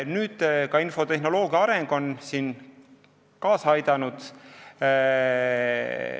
Nüüd on ka infotehnoloogia areng sellele asjale kaasa aidanud.